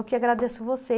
que agradeço